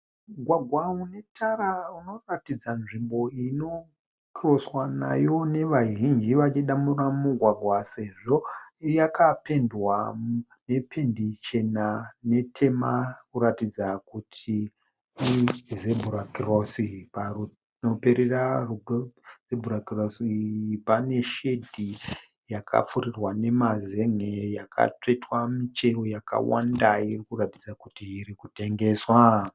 Mugwagwa une tara unoratidza nzvimbo inokiroswa nayo nevazhinji vachidambura mugwagwa sezvo yakapendwa nependi chena netema kuratidza kuti iZebra Cross. Panoperera Zebra Cross iyi pane shedi yakapfurirwa nemazen'e yakatsvetwa michero yakawanda irikuratidza kuti irikutengeswa.